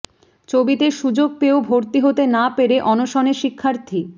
চবিতে সুযোগ পেয়েও ভর্তি হতে না পেরে অনশনে শিক্ষার্থী